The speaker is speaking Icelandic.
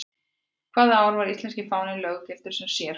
Hvaða ár var íslenski fáninn löggiltur sem sérfáni?